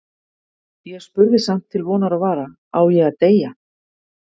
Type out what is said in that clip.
Ég spurði samt til vonar og vara: Á ég að deyja?